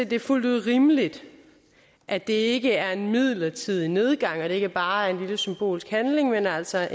det er fuldt ud rimeligt at det ikke er en midlertidig nedgang og at det ikke bare er en lille symbolsk handling men altså